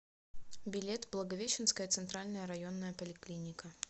билет благовещенская центральная районная поликлиника